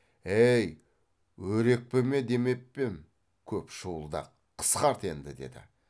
әй өрекпіме демеп пе ем көп шуылдақ қысқарт енді деді